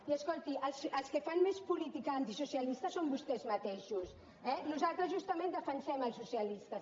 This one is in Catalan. i escolti els que fan més política antisocialista són vostès mateixos eh nosaltres justament defensem els socialistes